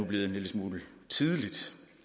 blevet en lille smule tidligt